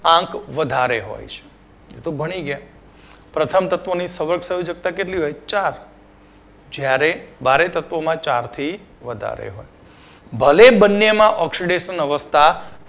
આંક વધારે હોય છે તો ભણી ગયા પ્રથમ તત્વો ની સવર્ગ સંયોજક્તા કેટલી હોય ચાર જ્યારે બારે તત્વોમાં ચાર થી વધારે હોય ભલે બંને માં oxidation અવસ્થા